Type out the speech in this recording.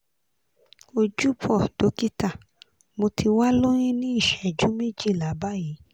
ojúbọ̀ dókítà mo ti wà lóyún ní ìṣẹ́jú méjìlá báyìí